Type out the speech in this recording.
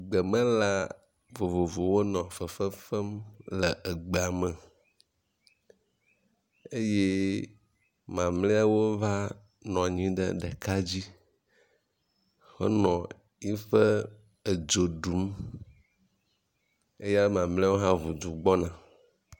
Gbemelã vovovowo nɔ fefefem le egbeame eye mamliawo va nɔnyi ɖe ɖeka dzi henɔ eƒe edzo ɖum eya mamliawo hã ʋudu gbɔna